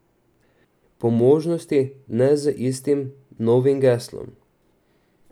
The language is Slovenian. Po možnosti ne z istim novim geslom.